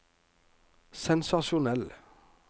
sensasjonell